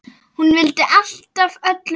Hún vildi alltaf öllum vel.